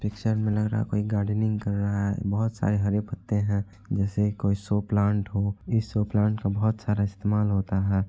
Picture मे लग रहा हे कोई गार्डनिंग कर रहा है बहुत सारे हरे पत्ते है जेसे कोई शो प्लान्ट हो इस शो प्लान्ट का बहुत सारा इस्तेमाल होता है ।